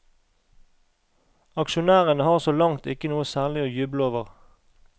Aksjonærene har så langt ikke noe særlig å juble over.